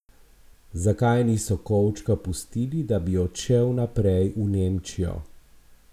Zakaj niso kovčka pustili, da bi odšel naprej v Nemčijo?